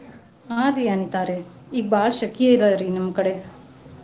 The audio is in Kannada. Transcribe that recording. ಹಾ ರೀ ಅನಿತಾ ಅವ್ರೆ ಈಗ್ ಬಾಳ್ ಶೆಕಿ ಅದರೀ ನಮ್ಮ್ ಕಡೆ.